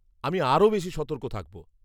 আমি আরও বেশি সতর্ক থাকব।